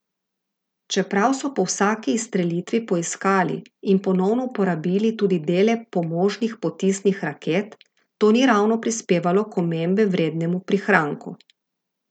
Čeprav so po vsaki izstrelitvi poiskali in ponovno uporabili tudi dele pomožnih potisnih raket, to ni ravno prispevalo k omembe vrednemu prihranku.